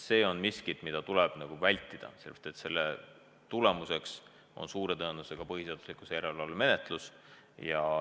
See on miski, mida tuleb vältida, sellepärast et tagajärg on suure tõenäosusega põhiseaduslikkuse järelevalve menetlus.